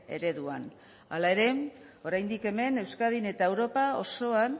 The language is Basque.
ereduan hala ere oraindik hemen euskadin eta europa osoan